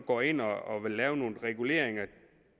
går ind og vil lave nogle reguleringer